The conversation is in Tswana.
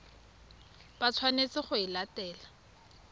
ba tshwanetseng go e latela